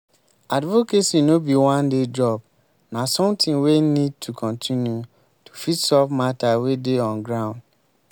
advocacy no be one day job na something wey need to continue to fit solve matter wey dey on ground